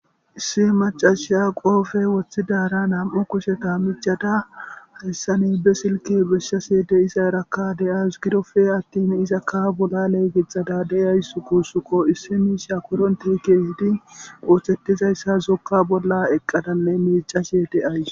Issi macashiya qoofey woththidaara nam'u kushsheta miiccada hayssani be silke besashe de'izarakka de'awus giddoppe attin izakka bollale gixxadda de'awus guussukko issi miishsha korontey keehidi ooththettizayssa zokka bolla eqqadanne miicashee de'awus